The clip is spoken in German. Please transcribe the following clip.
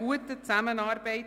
«Kantonsstrasse Nr.